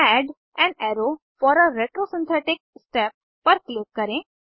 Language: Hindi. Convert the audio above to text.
add an arrow for a retrosynthetic step पर क्लिक करें